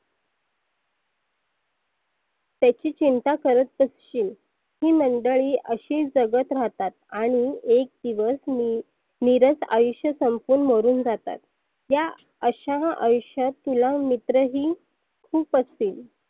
त्याची चिंता करत बसशील. ही मंडळी अशीच जगत राहतात. आणि एक दिवस मी निरस आयुष्य संपवून मरुन जातात. या अश्या अयुष्यात तुला मित्रही खुप असतील.